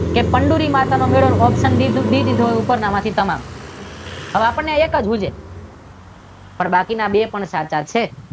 ચંદૂરી માતાનો મેળો option D દીધું હોય ઉપરના માંથી તમામ હવે આપણને એક જ સૂજે પણ બાકીના બે પણ સાચા છે.